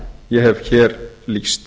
ég hef hér lýst